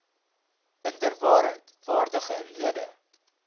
inderwaarheid waardige lede